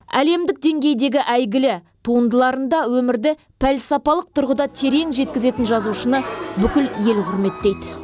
әлемдік деңгейдегі әйгілі туындыларында өмірді пәлсапалық тұрғыда терең жеткізетін жазушыны бүкіл ел құрметтейді